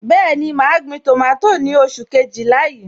Bẹẹni, ma gbin tomato ni oṣù Kejìlá yìí.